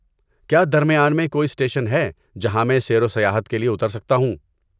کیا درمیان میں کوئی اسٹیشن ہیں جہاں میں سیر و سیاحت کے لیے اتر سکتا ہوں؟